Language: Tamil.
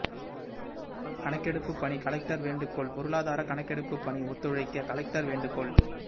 கணக்கெடுப்பு பணி கலெக்டர் வேண்டுகோள் பொருளாதார கணக்கெடுப்பு பணி ஒத்துழைக்க கலெக்டர் வேண்டுகோள்